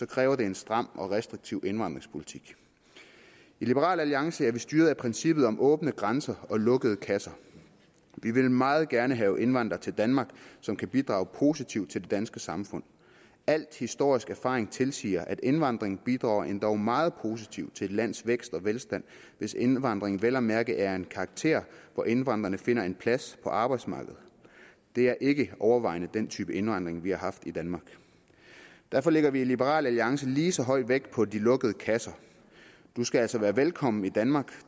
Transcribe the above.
kræver det en stram og restriktiv indvandringspolitik i liberal alliance er vi styret af princippet om åbne grænser og lukkede kasser vi vil meget gerne have indvandrere til danmark som kan bidrage positivt til det danske samfund al historisk erfaring tilsiger at indvandring bidrager endog meget positivt til et lands vækst og velstand hvis indvandringen vel at mærke er af en karakter hvor indvandrerne finder en plads på arbejdsmarkedet det er ikke overvejende den type indvandring vi har haft i danmark derfor lægger vi i liberal alliance lige så høj vægt på de lukkede kasser du skal altså være velkommen i danmark